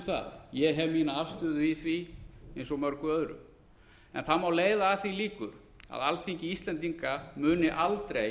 það ég hef mína afstöðu í því eins og mörgu öðru en það má leiða að því líkur að alþingi íslendinga muni aldrei